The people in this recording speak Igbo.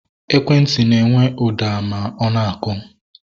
Ekwentị na-enwe ụda ma ọ na-akụ